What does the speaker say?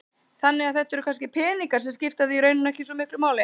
Þannig að þetta eru kannski peningar sem skipta þig í rauninni ekki svo miklu máli?